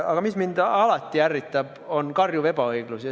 Aga mis mind alati ärritab, on karjuv ebaõiglus.